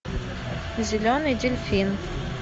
зеленый дельфин